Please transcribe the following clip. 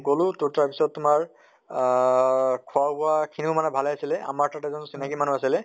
গলো তʼ তাৰ পিছত তোমাৰ আহ খোৱা বোৱা খিনিও মানে ভালে আছিলে, আমাৰ তাত এজন চিনাকী মানুহ আছিলে